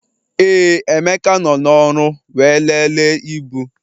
Ee, Emeka nọ n'ọrụ wee lelee ibu